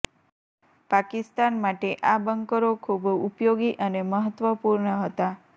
પાકિસ્તાન માટે આ બંકરો ખૂબ ઉપયોગી અને મહત્વપૂર્ણ હતા